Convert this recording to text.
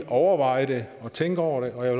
overveje det og tænke over det og jeg